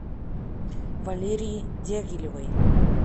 валерии дягилевой